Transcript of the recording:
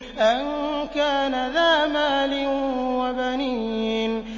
أَن كَانَ ذَا مَالٍ وَبَنِينَ